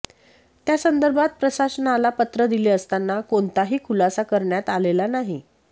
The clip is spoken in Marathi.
त्यासंदर्भात प्रशासनाला पत्र दिले असताना कोणताही खुलासा करण्यात आलेला नाही